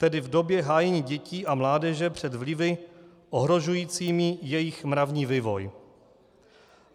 Tedy v době hájení dětí a mládeže před vlivy ohrožujícími jejich mravní vývoj.